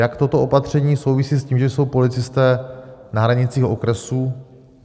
Jak toto opatření souvisí s tím, že jsou policisté na hranicích okresů?